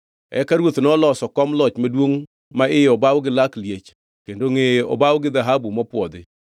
Eka ruoth noloso kom loch maduongʼ ma iye obaw gi lak liech kendo ngʼeye obaw gi dhahabu mopwodhi.